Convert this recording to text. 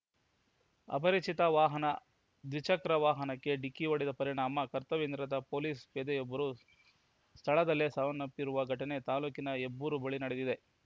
ಅಪರಿಚಿತ ವಾಹನ ದ್ವಿಚಕ್ರ ವಾಹನಕ್ಕೆ ಡಿಕ್ಕಿ ಹೊಡೆದ ಪರಿಣಾಮ ಕರ್ತವ್ಯನಿರತ ಪೊಲೀಸ್ ಪೇದೆಯೊಬ್ಬರು ಸ್ಥಳದಲ್ಲೇ ಸಾವನ್ನಪ್ಪಿರುವ ಘಟನೆ ತಾಲ್ಲೂಕಿನ ಹೆಬ್ಬೂರು ಬಳಿ ನಡೆದಿದೆ